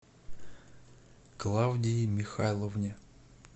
клавдии михайловне